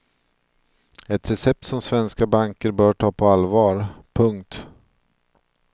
Ett recept som svenska banker bör ta på allvar. punkt